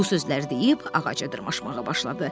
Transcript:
Bu sözləri deyib ağaca dırmaşmağa başladı.